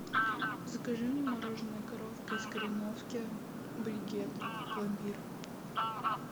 закажи мне мороженое коровка из кореновки брикет пломбир